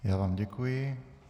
Já vám děkuji.